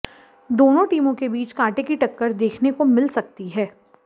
दोनों टीमों के बीच कांटे की टक्कर देखने को मिल सकती हैं